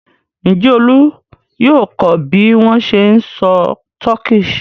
Ǹjẹ́ Olú yóò kọ́ bí wọ́n ṣe ń sọ Turkish?